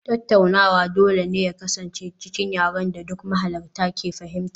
Tattaunawa dole ne su kasance cikin yaren da duk mahalarta ke fahimta